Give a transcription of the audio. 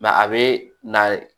a bɛ na